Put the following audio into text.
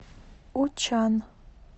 учан